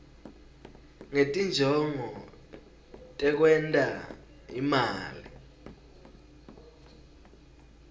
ngetinjongo tekwenta imali